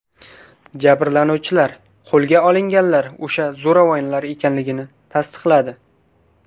Jabrlanuvchilar qo‘lga olinganlar o‘sha zo‘ravonlar ekanligini tasdiqladi.